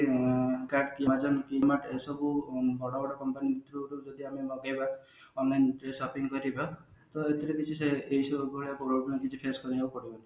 ଏସବୁ ବଡ ବଡ company through ରୁ ଯଦି ଆମେ ମଗେଇବା online ରେ shopping କରିବା ତ ଏଇଥିରେ problem କିଛି face କରିବାକୁ ପଡିବନୀ